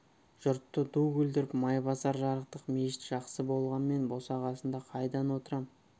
жұртты ду күлдіріп майбасар жарықтық мешіт жақсы болғанмен босағасында қайдан отырам